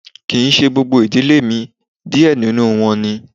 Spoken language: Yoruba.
Kii ṣe gbogbo idile mi, diẹ ninu wọn ní